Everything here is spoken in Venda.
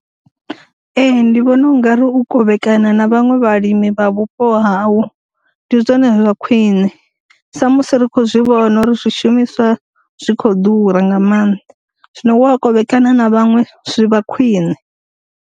Ee ndi vhona ungari u kovhekana na vhaṅwe vhalimi vha vhupo hau ndi zwone zwa khwine, sa musi ri kho zwi vhona uri zwi shumiswa zwi kho ḓura nga maanḓa, zwino wa kovhekana na vhaṅwe zwi vha khwine.